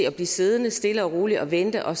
at blive siddende stille og roligt og vente og